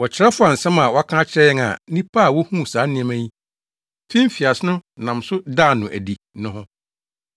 Wɔkyerɛw faa nsɛm a wɔaka akyerɛ yɛn a nnipa a wohuu saa nneɛma yi fi mfiase no nam so daa no adi no ho.